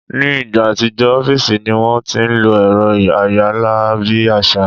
Ni ìgbà àtijọ́, ọ́fìsì ní wọ́n ti ń lo ẹ̀rọ ayára bí àṣá